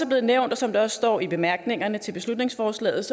blevet nævnt og som der også står i bemærkningerne til beslutningsforslaget